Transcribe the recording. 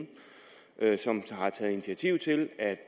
et som har taget initiativ til at